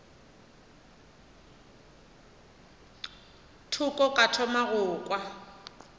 thoko ka thoma go kwa